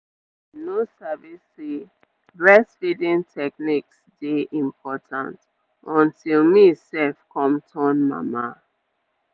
i bin no sabi say breastfeeding techniques dey important until me sef come turn mama.